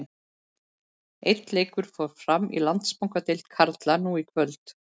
Einn leikur fór fram í Landsbankadeild karla nú í kvöld.